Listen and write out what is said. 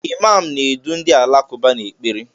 Imaam na-edu ndị Alakụba n'ekpere.